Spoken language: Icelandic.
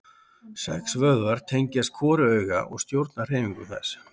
Sex vöðvar tengjast hvoru auga og stjórna hreyfingum þess.